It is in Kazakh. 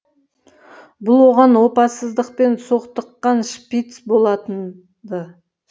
бұл оған опасыздықпен соқтыққан шпиц болатын ды